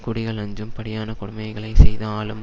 குடிகள் அஞ்சும் படியான கொடுமைகளைச் செய்து ஆளும்